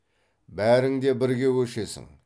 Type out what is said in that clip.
бәрің де бірге көшесің